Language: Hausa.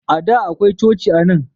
A da akwai coci anan.